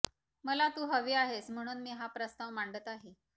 मला तू हवी आहेस म्हणून मी हा प्रस्ताव मांडत आहे